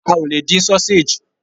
A ò lè dín sausage.